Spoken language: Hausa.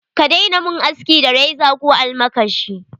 Ka daina mun aski da reza ko almakashi.